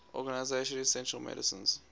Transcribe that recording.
organization essential medicines